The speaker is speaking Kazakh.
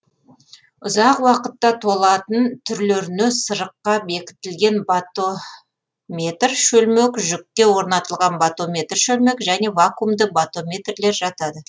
ұзақ уақытта толатын түрлеріне сырыққа бекітілген батометр шөлмек жүкке орнатылған батометр шөлмек және вакуумды батометрлер жатады